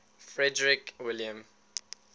frederick william